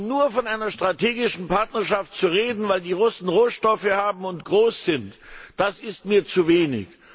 Nur von einer strategischen Partnerschaft zu reden, weil die Russen Rohstoffe haben und groß sind, das ist mir zu wenig.